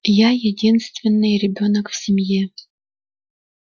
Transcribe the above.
я единственный ребёнок в семье